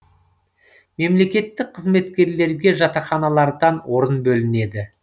мемлекеттік қызметкерлерге жатақханалардан орын бөлінеді